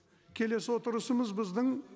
келесі отырысымыз біздің